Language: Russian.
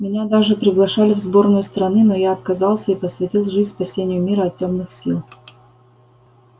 меня даже приглашали в сборную страны но я отказался и посвятил жизнь спасению мира от тёмных сил